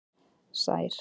Sær